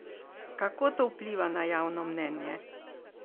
Kako to vpliva na javno mnenje?